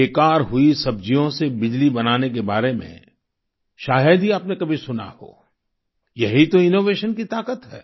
बेकार हुई सब्जियों से बिजली बनाने के बारे में शायद ही आपने कभी सुना हो यही तो इनोवेशन की ताकत है